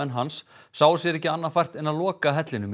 hans sáu sér ekki annað fært en að loka hellinum